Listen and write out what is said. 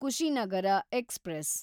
Kushinagar express